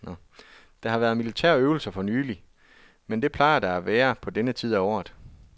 Der har været militærøvelser fornylig, men det plejer der at være på denne tid af året.